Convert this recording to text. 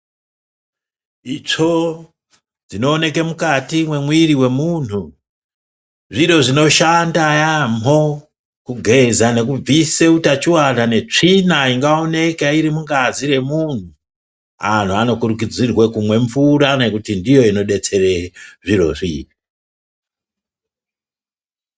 Itsvo dzinowoneke mukati memwiri wemunhu, zviro zvinoshanda yaamho kugeza nekubvise hutachiona netsvina ingawoneka irimungazi yemunhu. Anhu anokurudzirwe kumwe mvura ngekuti ndiyo inodetsere zvirozvi.